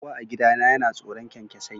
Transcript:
Kowa a gidana yana tsoron kyankyasai